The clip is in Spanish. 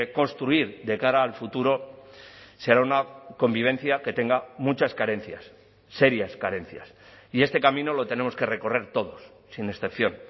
construir de cara al futuro será una convivencia que tenga muchas carencias serias carencias y este camino lo tenemos que recorrer todos sin excepción